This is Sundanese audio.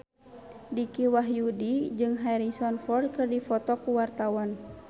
Dicky Wahyudi jeung Harrison Ford keur dipoto ku wartawan